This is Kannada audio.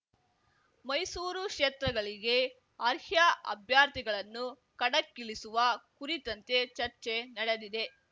ಮೈಸೂರು ಕ್ಷೇತ್ರಗಳಿಗೆ ಅರ್ಹ್ಯಾ ಅಭ್ಯರ್ಥಿಗಳನ್ನು ಕಣಕ್ಕಿಳಿಸುವ ಕುರಿತಂತೆ ಚರ್ಚೆ ನಡೆದಿದೆ